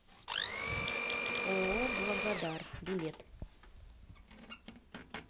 ооо благодар билет